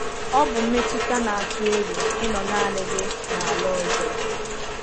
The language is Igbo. Ọ bụ mmetụta na-atụ egwu ịnọ naanị gị n’ala ọzọ.